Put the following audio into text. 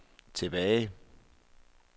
tilbage